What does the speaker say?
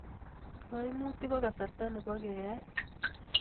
Kaimutik ko kasarta nebo keeae